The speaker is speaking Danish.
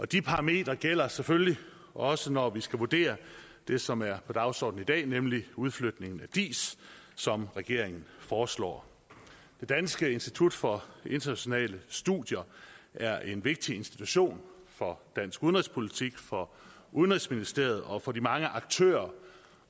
de parametre gælder selvfølgelig også når vi skal vurdere det som er på dagsordenen i dag nemlig udflytningen af diis som regeringen foreslår dansk institut for internationale studier er en vigtig institution for dansk udenrigspolitik for udenrigsministeriet og for de mange aktører